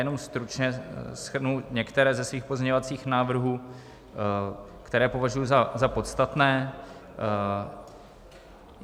Jenom stručně shrnu některé ze svých pozměňovacích návrhů, které považuji za podstatné.